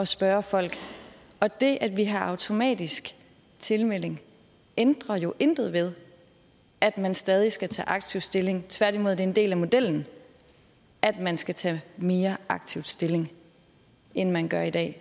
spørge folk og det at vi har automatisk tilmelding ændrer jo intet ved at man stadig skal tage aktivt stilling tværtimod er det en del af modellen at man skal tage mere aktivt stilling end man gør i dag